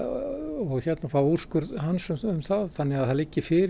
og fá úrskurð hans um það þannig að það liggi fyrir